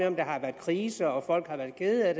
om der har været krise eller folk har været kede af